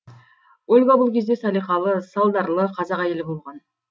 ольга бұл кезде салиқалы салдарлы қазақ әйелі болған